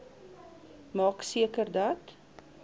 maak seker dat